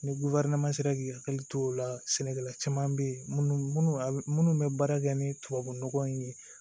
Ni sera k'i hakili to o la sɛnɛkɛla caman bɛ yen minnu bɛ baara kɛ ni tubabunɔgɔ in ye